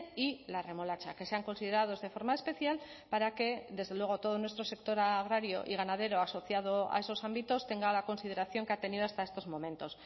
y la remolacha que sean considerados de forma especial para que desde luego todo nuestro sector agrario y ganadero asociado a esos ámbitos tenga la consideración que ha tenido hasta estos momentos